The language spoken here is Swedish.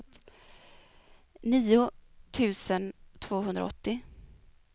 nio tusen tvåhundraåttio